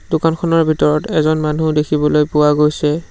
দোকানখনৰ ভিতৰত এজন মানুহ দেখিবলৈ পোৱা গৈছে।